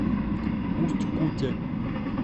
усть куте